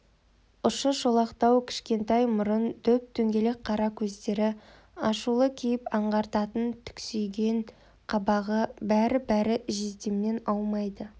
ұшы шолақтау кішкентай мұрын дөп-дөңгелек қара көздері ашулы кейіп аңғартатын түксиген қабағы бәрі-бәрі жездемнен аумайды